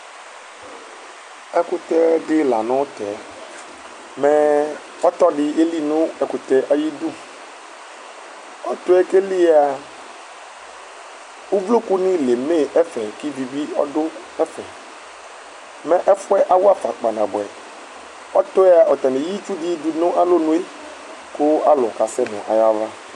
Ɛkʋtɛdi lanʋtɛ, mɛ ɔtɔdi elinʋ ɛkʋtɛ yɛ ayʋ idʋ, ɔtɔyɛ kʋ eli yɛa ʋvlokʋni leme ɛfɛ, kʋ ivi bi ɔdʋ ɛfɛ Mɛ ɛfʋ yɛ awafa pkaa nabʋɛ, ɔtɔ yɛa atani eya itsudi dʋnʋ alɔnʋe kʋ alʋ kasɛnʋ ayʋ ava